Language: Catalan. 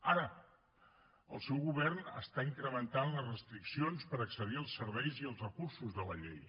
ara el seu govern està incrementant les restriccions per accedir als serveis i als recursos de la llei